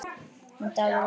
Þennan dag við vatnið.